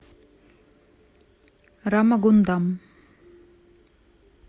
рамагундам